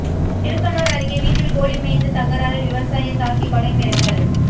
திருக்கனூர் அருகே வீட்டில் கோழி மேய்ந்த தகராறில் விவசாயியை தாக்கி கொலை மிரட்டல்